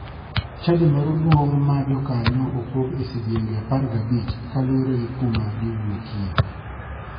Chadi moro duong' ma jokanyo opog e sidienge 15 kaluore gi kuma giwuokie.